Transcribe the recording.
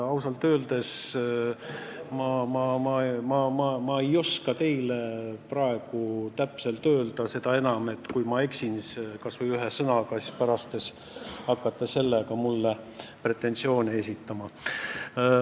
Ausalt öeldes ma ei oska teile praegu täpselt vastata – seda enam, et kui ma eksin kas või ühe sõnaga, siis pärast te hakkate mulle pretensioone esitama.